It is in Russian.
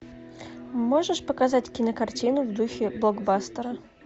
можешь показать кинокартину в духе блокбастера